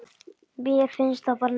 Mér finnst það bara nett.